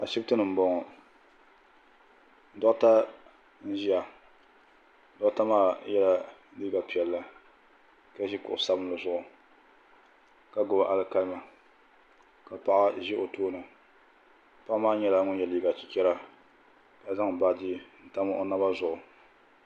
Ashiptini m boŋɔ doɣata n ʒia doɣata maa yela liiga piɛlli ka ʒi kuɣu sabinli zuɣu ka gbibi alikalimi ka paɣa ʒi o tooni paɣa maa nyɛla ŋun ye liiga chichera ma zaŋ baaji n tam o naba zuɣu.